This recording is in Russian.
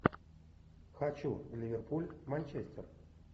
хочу ливерпуль манчестер